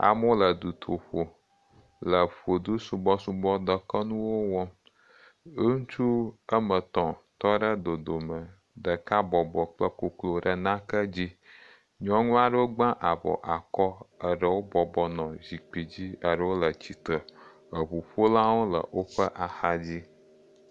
Amewo le dutoƒe le vodusubɔsubɔ dekɔnuwo wɔm. Ŋutsu ame tɔ̃ tɔ ɖe dodome ɖeka bɔbɔ kple koklo ɖe nake dzi. Nyɔnu aɖewo gba avɔ akɔ. Eɖewo bɔbɔ nɔ zikpi dzi. Eɖewo le tsitre. Eŋuƒolawo le woƒe ahadzi.